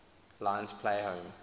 lions play home